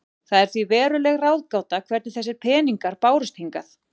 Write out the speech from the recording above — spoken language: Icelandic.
Það er því veruleg ráðgáta hvernig þessir peningar bárust hingað.